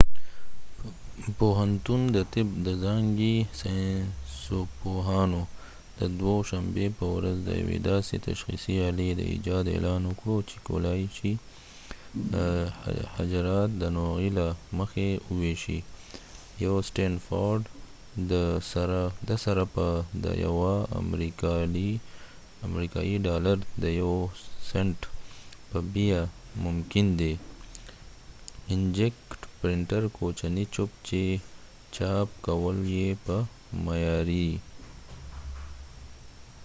د stanford پوهنتون د طب د ځانګی ساینسپوهانو د دوه شنبی په ورځ د یوې داسې تشخیصی آلی د ایجاد اعلان وکړ چې کولای شي حجرات د نوعی له مخی وويشي یو کوچنی چپ چې چاپ کول یې په معیاری inkject printer سره په د یوه امریکایې ډالر د یو سنټ په بیه ممکن دي